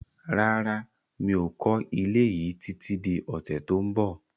Rárá, mi ò kọ́ ilé yí títí di ọ̀sẹ̀ tó ń bọ̀